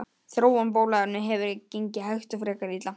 Þróun bóluefna hefur gengið hægt og frekar illa.